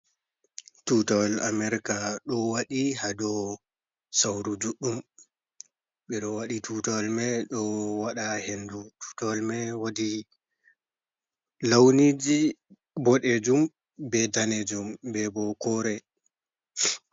Tutawal america ɗo waɗi ha dow sauru juɗɗum, ɓe ɗo waɗi tutawal mai ɗo waɗa ha hendu, tutawal mai wudi launiji boɗejum, be danejum, be bo kore.